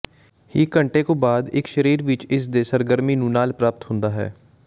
ਹੀ ਘੰਟੇ ਕੁ ਬਾਦ ਇੱਕ ਸਰੀਰ ਵਿੱਚ ਇਸ ਦੇ ਸਰਗਰਮੀ ਨੂੰ ਨਾਲ ਪ੍ਰਾਪਤ ਹੁੰਦਾ ਹੈ